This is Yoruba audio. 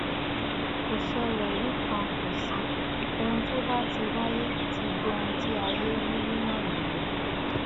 kò ṣẹlẹ rí kan kò sí ohun tó bá ti wáyé ti dohun tí ayé rí rí náà nìyẹn